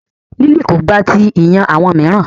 Lily ko gba ti iyan awọn miiran